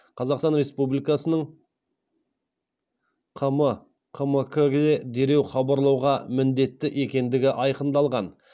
қазқстан республикасының қм қмк ке дереу хабарлауға міндетті екендігі айқындалған